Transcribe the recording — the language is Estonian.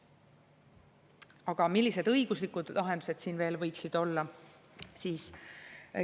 Aga millised õiguslikud lahendused siin võiksid olla?